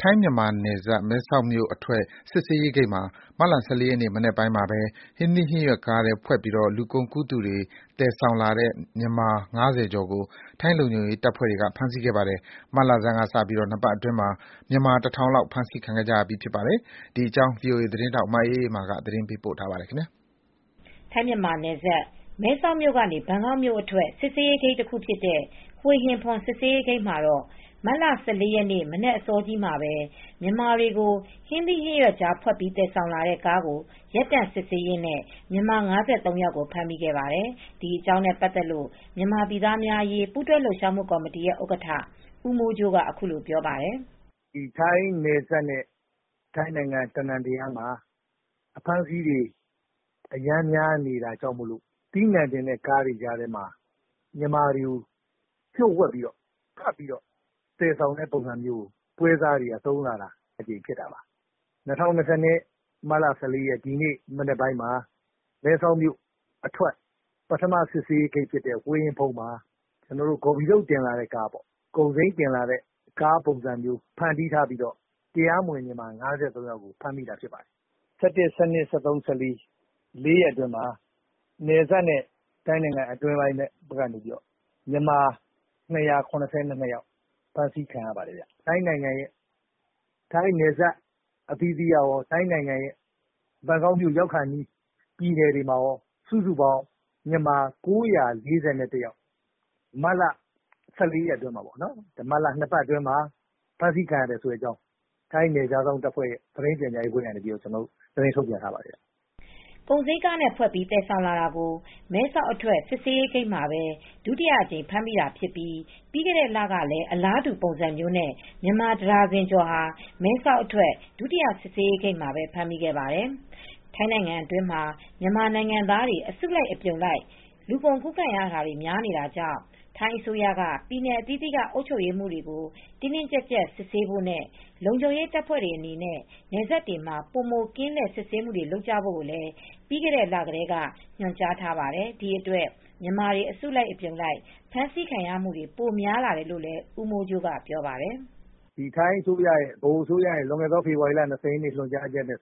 ထိုင်းမြန်မာနယ်စပ်၊ မဲဆောက်မြို့ အထွက်စစ်ဆေးရေးဂိတ်မှာမတ်လ ၁၄ရက်နေ့မနက်ပိုင်းမှာပဲ ဟင်းသီးဟင်းရွက်ကားထဲဖွက်ပြီး လူကုန်ကူးသူတွေ သယ်ဆောင်လာတဲ့မြန်မာ ၅၀ကျော်ကို ထိုင်းလုံခြုံရေးတပ်ဖွဲ့တွေကဖမ်းဆီးခဲ့ပါတယ်။ မတ်လဆန်းကစပြီး၂ပတ်အတွင်း မြန်မာ တထောင်လောက်ဖမ်းဆီးခံရပါတယ်။ ဒီသတင်းကိုဗွီအိုအေသတင်းထောက်မအေးအေးမာကသတင်းပေးပို့ထားပါတယ်။ ထိုင်းမြန်မာနယ်စပ် မဲဆောက်မြို့ကနေ ဘန်ကောက်မြို့အတွက် စစ်ဆေးရေးဂိတ်တခုဖြစ်တဲ့" ဟွေဟင်ဖွန် "စစ်ဆေးရေးဂိတ်မှာတော့ မတ်လ၁၄ရက်နေ့မနက်အစောကြီးမှာပဲ မြန်မာတွေကို ဟင်းသီးဟင်းရွက်ကြားဖွက်ပြီး သယ်ဆောင်လာတဲ့ ကားကိုရပ်တန့်စစ်ဆေးရင်းနဲ့ြ မန်မာ၅၃ယောက်ဖမ်းမိခဲ့ပါတယ်။ ဒီအကြောင်းနဲ့ပတ်သက်လို့မြန်မာပြည်သးားများအရေးပူးတွဲလှုပ်ရှားမူ့ကော်မတီရဲ့ဥက္ကဌ ဦးမိုးကြိုးကအခုလိုပြောပါတယ်။ "ဒီထိုင်းနယ်စပ်နဲ့ ထိုင်းနိုင်ငံအနှံအပြားမှာ အဖမ်းအဆီးတွေများအရမ်းများနေတဲ့အတွက် အသီးအနှံတင်တဲ့ကားတွေထဲမှာမြန်မာတွေကိုလှို့ဝှက်ဖွက်ပြီးသယ်ဆောင်တာမျိုးကိုပွဲစားတွေကသုံးလာတာပါ။ ၂၀၂၂ခုနှစ်၊ မတ်လ ၁၄ရက်နေ့ ဒီနေ့မနက် မှာမဲဆောက်မြို့အထွက်ပထမစစ်ဆေးရေးဂိတ်ဖြစ်တဲ့ဟွေဟင်ဖွန်ဂိတ်မှာ ဂေါ်ဖီထုတ်တင်လာတဲ့ပေါ့၊ ကုန်စိမ်းတင်တဲ့ကားပုံစံဖန်တီးထားပြီး တရားမဝင် မြန်မာ၅၃ယောက်တင်လာလို့ဖမ်းမိတာဖြစ်ပါတယ်။ မတ်လ ၁၁ ၊၁၂၊ ၁၃၊ ၁၄ လေးရက်အတွင်းမှာ နယ်စပ်နဲ့ထိုင်းနိုင်ငံအတွင်းမှာ မြန်မာ (၂၇၂ ယောက်ဖမ်းဆီးခံရတယ်။ ထိုင်းနယ်စပ်အသီးသီးကကော ထိုင်းနိုင်ငံဘန်ကောက်မြို့ရောက်ခါနီးပြည်နယ်တွေမှာကောစုစုပေါင်း မြန်မာ ၉၄၁ ယောက် မြန်မာ(၁၄)ရက်နေ့ထိ ၂ပတ်အတွင်းမှာ ဖမ်းမိတဲ့အကြောင်း ထိုင်းနယ်ခြားစောင့်တပ်က သတင်းထုတ်ပြန်ထားပါတယ်။" ကုန်စီမ်းကားတွေနဲ့ဖွက်ပြီးသယ်ဆောင်လာတာကို မဲဆောက်အထွက်စစ်ဆေးရေးဂိတ်မှာပဲ ဒုတိယအကြိမ်ဖမ်းမိတာဖြစ်ပြီး ပြီးခဲ့တဲ့လကလည်းအလားတူပုံစံမျိုးနဲ့မြန်မာ တဒါဇင်ကျော် မဲဆောက်အထွက်ဒုတိယစစ်ဆေးရေးဂိတ်မှာပဲ ဖမ်းမိခဲ့ပါတယ်။ ထိုင်းနိုင်ငံအတွင်းမှာမြန်မာနိုင်ငံသားတွေအစုလိုက်အပြုံလိုက် လူကုန်ကူးခံမူတွေများပြားလာတာကြောင့်ထိုင်းအစိုးရက ပြည်နယ်အသီးသီးကအုပ်ချုပ်ရေးမှူးတွေကို တင်းတင်းကြပ်ကြပ် စစ်ဆေးဖို့နဲ့ လုံခြုံရေးတပ်ဖွဲတွေအနေနဲ့နယ်စပ်တွေမှာပိုမိုကင်းလှည့်စစ်ဆေးမူတွေလုပ်ကြဖို့လည် းပြီးခဲ့တဲ့လကတည်းကညွန်ကြားထားပါတယ်။ ဒီအတွက်မြန်မာတွေ အစုလိုက်အပြုံလိုက် ဖမ်းဆီးခံရမှုတွေပိုများလာတယ်လို့လည်း ဦးမိုးကြိုးကလည်းပြောပါတယ်။ "ထိုင်းအစိုးရရဲ့လွန်ခဲ့တဲ့ ဖေဖေါ်ဝါရီလ ၂၀ရက်နေ့ညွန်ကြားချက်အရန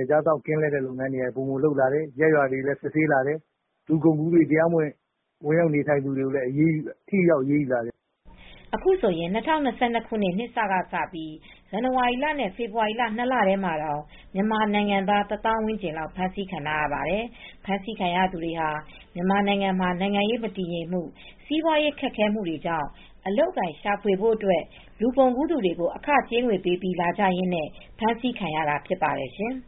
ယ်ခြားစောင့်ကင်းလှည့်လုပ်ငန်းတွေလည်းပိုမိုလုပ်လာတယ်။ ရပ်ရွာတွေမှာလည်းပိုပြီးစစ်ဆေးလာတယ်လူကုန်ကူးမူတွေကိုလည်းပိုပြီး ထိထိရောက်ရောက်အရေးယူလာတယ် " အခုဆိုရင် ၂၀၂၂ခုနှစ်နှစ်စကစပြိး ဇန်နဝါရီလနဲ့ဖေဖေါ်ဝါရီလ ၂လထဲမှာတောင်မြန်မာနိုင်ငံသား တသောင်ဝန်းကျင်လောက်ဖမ်းဆီးခံထားရပါတယ်။ ဖမ်းဆီးခံရသူတွေဟာမြန်မာနိုင်ငံမှာနိုင်ငံရေးမတည်ငြိမ်မူ့ စီးပွားရေးခက်ခဲမှု တွေကြောင့်အလုပ်အကိုင်ရှာဖွေဖို့အတွက် လူကုန်ကူးသူတွေကိုအခကြေးငွေပေးပြီးလာကြရင်းနဲ့ ခုလိုဖမ်းဆီးခံရတာဖြစ်ပါတယ်ရှင်။